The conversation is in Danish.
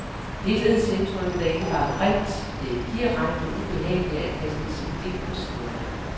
Helhedsindtrykket er ikke bare grimt, det er direkte ubehageligt at kaste sit blik på siderne.